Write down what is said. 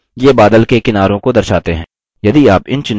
ये बादल के किनारों को दर्शाते हैं